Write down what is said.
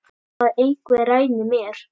Að einhver ræni mér.